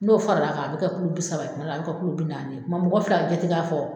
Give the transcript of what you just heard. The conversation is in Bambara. N'o faral'a kan a bɛ kɛ kilo bi saba ye tuma dɔ a bɛ kɛ kilo bi naani ye. O tuma mɔgɔ bɛ fili k'a jate k'a fɔ